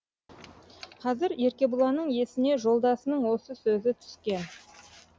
қазір еркебұланның есіне жолдасының осы сөзі түскен